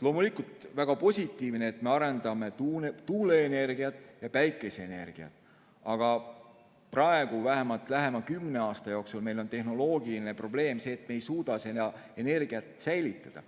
Loomulikult, väga positiivne on, et me arendame tuuleenergiat ja päikeseenergiat, aga praegu, vähemalt lähema kümne aasta jooksul on meil tehnoloogiline probleem, et me ei suuda seda energiat säilitada.